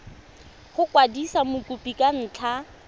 go kwadisa mokopi ka ntlha